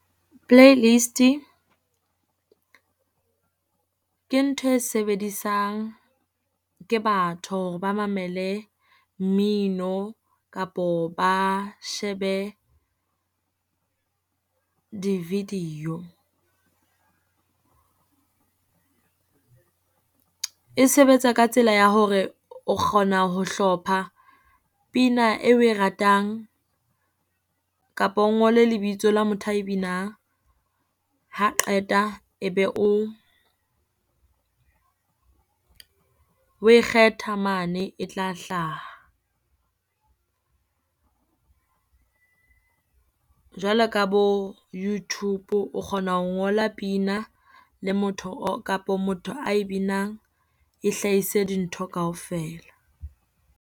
Playlist-i ke ntho e sebedisang ke batho hore ba mamele mmino kapo ba shebe di-video. E sebetsa ka tsela ya hore o kgona ho hlopha pina e oe ratang, kapo o ngole lebitso la motho ae binang. Ha qeta e be o, oe kgetha mane e tla hlaha. Jwalo ka bo YouTube o kgona ho ngola pina le motho o, kapo motho ae binang e hlahise dintho kaofela.